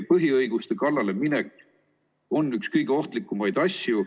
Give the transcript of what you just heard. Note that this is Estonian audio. Põhiõiguste kallale minek on üks kõige ohtlikumaid asju.